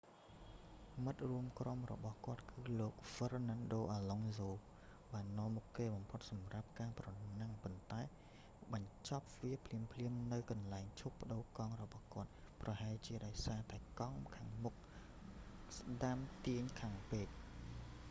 មិត្តរួមក្រុមរបស់គាត់គឺលោក fernando alonso បាននាំមុខគេបំផុតសម្រាប់ការប្រណាំង ប៉ុន្តែបានបញ្ចប់វាភ្លាមៗនៅកន្លែងឈប់ប្ដូរកង់របស់គាត់ ប្រហែលជាដោយសារតែកង់មុខខាងស្ដាំទាញខ្លាំងពេក